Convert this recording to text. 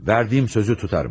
Verdigim sözü tutarım.